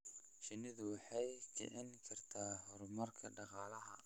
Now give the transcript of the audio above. Shinnidu waxay kicin kartaa horumarka dhaqaalaha.